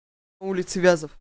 улица вязов